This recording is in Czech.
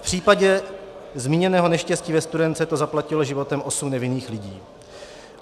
V případě zmíněného neštěstí ve Studénce to zaplatilo životem osm nevinných lidí.